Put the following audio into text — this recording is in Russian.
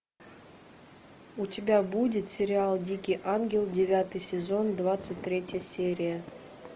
у тебя будет сериал дикий ангел девятый сезон двадцать третья серия